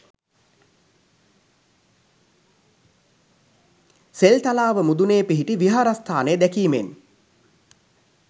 සෙල්තලාව මුදුනේ පිහිටි විහාරස්ථානය දැකීමෙන්